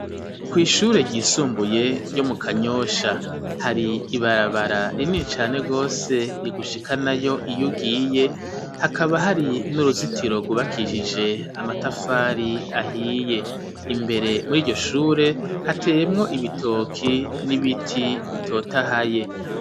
Kw' ishure ryisumbuye ryo mu kanyosha, hari ibarabara rinini cane Gose rigushikana yo iyugiye, hakaba hari n'uruzitiro gubakishije amatafari ahiye, imbere muri iryoshure hateyemwo ibitoki ,n'ibiti bitotahaye.